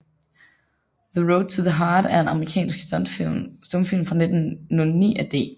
The Road to the Heart er en amerikansk stumfilm fra 1909 af D